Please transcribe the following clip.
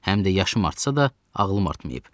Həm də yaşım artsa da ağlım artmayıb.